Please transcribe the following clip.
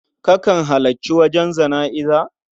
Kakan halarci wajen jana'iza?